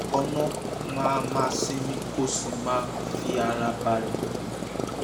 lákọ̀ọ́kọ́ ná máa máa sinmi kó o sì máa fi ara balẹ̀